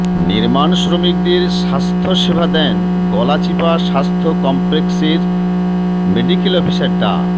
নির্মাণ শ্রমিকদের স্বাস্থ্যসেবা দেন গলাচিপা স্বাস্থ্য কমপ্লেক্সের মেডিকেল অফিসার ডা